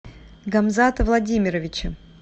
гамзата владимировича